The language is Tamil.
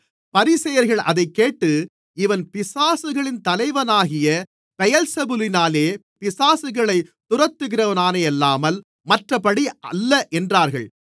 பரிசேயர்கள் அதைக்கேட்டு இவன் பிசாசுகளின் தலைவனாகிய பெயெல்செபூலினாலே பிசாசுகளைத் துரத்துகிறானேயல்லாமல் மற்றபடியல்ல என்றார்கள்